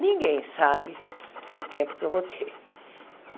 Ninguém sabe o tempo que eu vou ter.